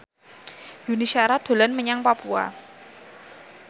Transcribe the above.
Yuni Shara dolan menyang Papua